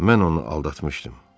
Mən onu aldatmışdım.